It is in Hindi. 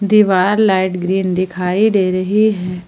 दीवार लाइट ग्रीन दिखाई दे रही है।